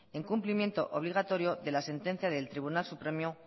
es un incumplimiento obligatorio de la sentencia del tribunal supremo